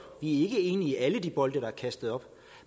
ikke enige i alle de bolde der er kastet op